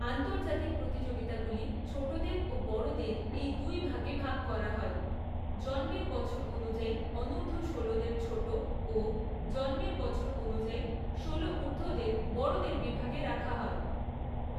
আন্তর্জাতিক প্রতিযোগিতাগুলি ছোটদের ও বড়দের এই দুই ভাগে ভাগ করা হয়; জন্মের বছর অনুযায়ী অনূর্ধ্ব ষোলোদের ছোট ও জন্মের বছর অনুযায়ী ষোলো ঊর্ধ্বদের বড়দের বিভাগে রাখা হয়।